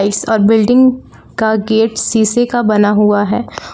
इस बिल्डिंग का गेट शीशे का बना हुआ है।